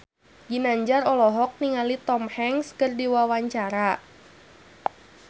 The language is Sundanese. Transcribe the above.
Ginanjar olohok ningali Tom Hanks keur diwawancara